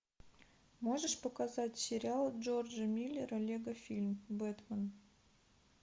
можешь показать сериал джорджа миллера лего фильм бэтман